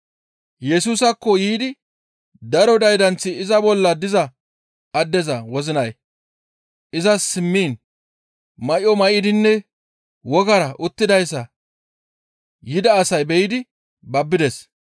Yesusaakko yiidi daro daydanththi iza bolla diza addeza wozinay izas simmiin may7o may7idinne wogara uttidayssa yida asay be7idi babbides.